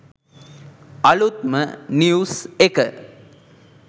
අලුත්ම නිව්ස් එක